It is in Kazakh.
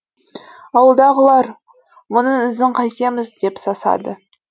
ауылдағылар мұның ізін қайтеміз деп сасады